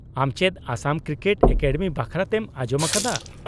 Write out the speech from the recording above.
-ᱟᱢ ᱪᱮᱫ Assam cricket academy ᱵᱟᱠᱷᱨᱟᱛᱮᱢ ᱟᱸᱡᱚᱢ ᱟᱠᱟᱫᱟ ?